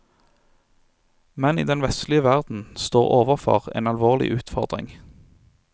Menn i den vestlige verden står overfor en alvorlig utfordring.